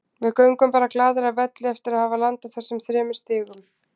Við göngum bara glaðir af velli eftir að hafa landað þessum þremur stigum.